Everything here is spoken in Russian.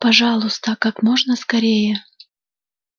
пожалуйста как можно скорее